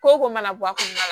Ko ko mana bɔ a kɔnɔ